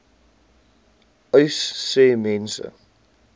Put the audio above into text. uys sê mense